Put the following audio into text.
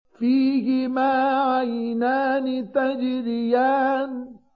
فِيهِمَا عَيْنَانِ تَجْرِيَانِ